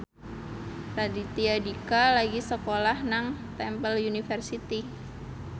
Raditya Dika lagi sekolah nang Temple University